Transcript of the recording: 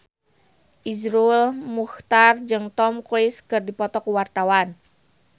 Iszur Muchtar jeung Tom Cruise keur dipoto ku wartawan